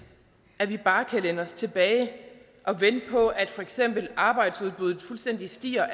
at vi bare kan læne os tilbage og vente på at for eksempel arbejdsudbuddet fuldstændig stiger